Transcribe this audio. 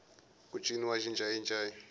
ku ciniwa xincayincayi